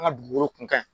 An ka dugukolo kan